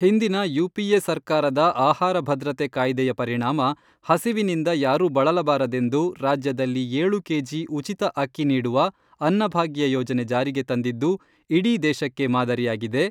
ಹಿಂದಿನ ಯು.ಪಿ.ಎ. ಸರ್ಕಾರದ ಆಹಾರ ಭದ್ರತೆ ಕಾಯ್ದೆಯ ಪರಿಣಾಮ ಹಸಿವಿನಿಂದ ಯಾರೂ ಬಳಲಬಾರದೆಂದು ರಾಜ್ಯದಲ್ಲಿ ಏಳು ಕೆಜಿ ಉಚಿತ ಅಕ್ಕಿ ನೀಡುವ, ಅನ್ನಭಾಗ್ಯ ಯೋಜನೆ ಜಾರಿಗೆ ತಂದಿದ್ದು, ಇಡೀ ದೇಶಕ್ಕೆ ಮಾದರಿಯಾಗಿದೆ.